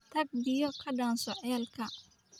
Tag biyo ka dhaanso ceelka